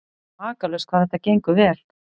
Makalaust hvað þetta gengur vel.